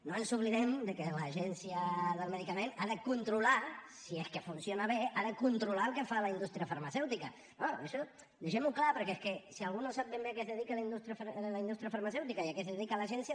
no ens oblidem que l’agència del medicament ha de controlar si és que funciona bé ha de controlar el que fa la indústria farmacèutica no això deixem ho clar perquè és que si algú no sap ben bé a què es dedica la indústria farmacèutica i a què es dedica l’agència